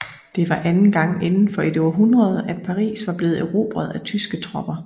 Det var anden gang indenfor et århundrede at Paris var blevet erobret af tyske tropper